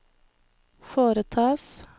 foretas